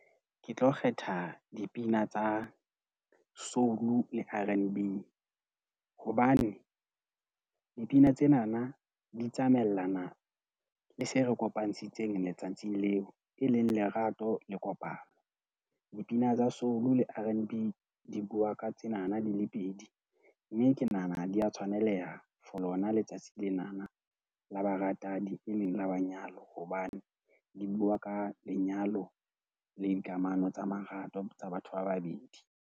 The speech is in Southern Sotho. Ke tlo kgetha dipina tsa soul R_N_B hobane dipina tsenana di tsamaellana, le se re kopantshitseng letsatsi leo e leng, lerato le kopano dipina ng tsa soul R_N_B di bua ka tsenana di le pedi mme ke nahana dia tshwaneleha For lona Letsatsi lena la baratani, e leng la manyalo hobane di bua ka lenyalo le dikamano tsa marato tsa batho ba babeding?